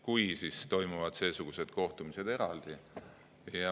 Kui, siis toimuvad seesugused kohtumised eraldi.